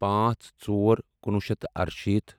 پانٛژھ ژور کُنوُہ شیٚتہ تہٕ ارشیٖتھ